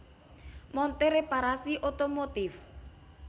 Montir Reparasi Otomotif